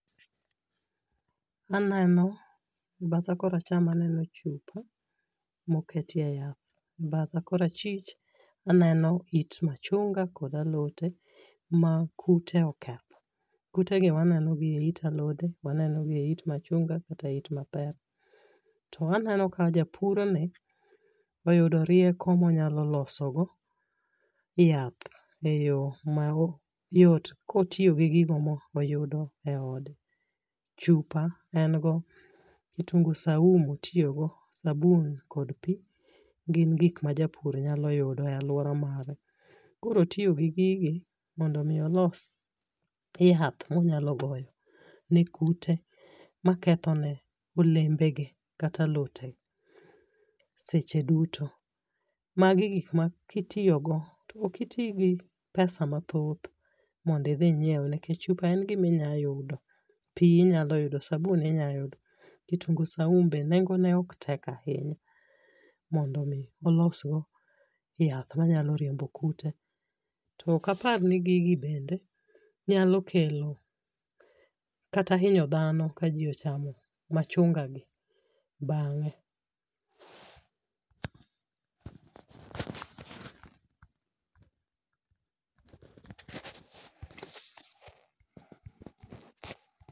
Aneno ,badha kor acham aneno chupa moketie yath, batha kor achwich aneno it machunga kod alote makute oketho, kute gi waneno gi e it alode waneno gi e it machunga kata it mapera to waneno ka japur ni oyudo rieko ma onyalo loso go yath e yo mayot kotiyo gi gi go moyudo e ode, chupa en go kitungu saumu otiyo go sabun gi pi gin gik ma japur nyalo yudo e aluora mare ,koro otiyo gi gigi mondo mi olos yath monyalo goyo ne kute maketho ne olembe ge kata alote seche duto ,magi gik maki tiyo go to ok iti gi pesa mathoth mondo idhi ingiew nikech chupa en gima inyalo yudo ,pii inyalo yudo sabun inyalo yudo kitungu saumu be nengo ne ok tek ahinya mondo mi ilos go yath manyalo riembo kute ,tok apar ka gigi bende nyalo kelo kata hinyo dhano ka ji pochamo machunga gi bange